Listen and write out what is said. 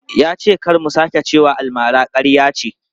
Ya ce kar mu sake cewa almara ƙarya ce.